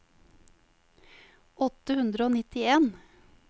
åtte hundre og nittien